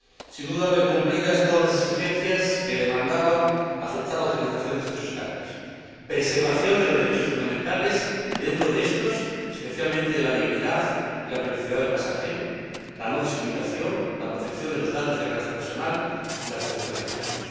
Sin duda, ver cumplidas todas las exigencias que demandaba aceptar la utilización de estos escáneres preservación de los derechos fundamentales y, entre estos, especialmente la dignidad y la privacidad del pasajero, la no discriminación, la protección de los datos de carácter personal y la protección de la salud.